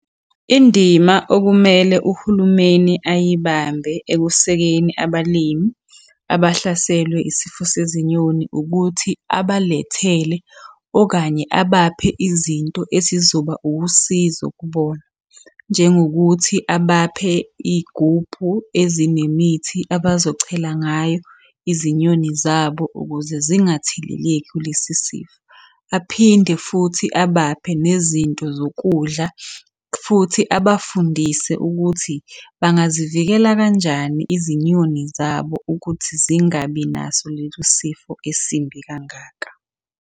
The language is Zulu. Indima okumele uhulumeni ayibambe ekusekeni abalimi abahlaselwe isifo sezinyoni, ukuthi abalethele okanye abaphe izinto esizoba usizo kubona. Njengokuthi abaphe iy'gubhu ezinemithi abazochela ngayo izinyoni zabo ukuze zingatheleleki kulesi sifo. Aphinde futhi abaphe nezinto zokudla, futhi abafundise ukuthi bangazivikela kanjani izinyoni zabo ukuthi zingabi naso leso sifo esimbi kangaka.